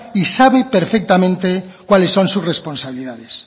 y sabe perfectamente cuáles son sus responsabilidades